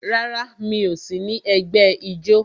Rárá, mi ò sí ní ẹgbẹ́ ijó